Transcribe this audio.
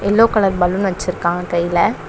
Yellow colour balloon வச்சிருக்கான் கைல.